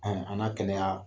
Anw an na kɛnɛya